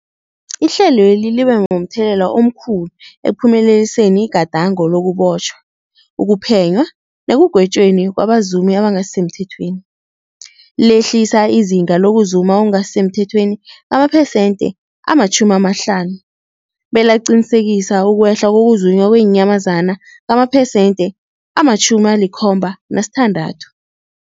Ihlelweli libe momthelela omkhulu ekuphumeleliseni igadango lokubotjhwa, ukuphenywa nekugwetjweni kwabazumi abangasisemthethweni, lehlisa izinga lokuzuma okungasi semthethweni ngamaphesenthe-50, belaqinisekisa ukwehla kokuzunywa kweenyamazana ngamamaphesenthe-76.